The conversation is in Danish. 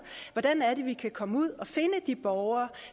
hvordan vi kan komme ud at finde de borgere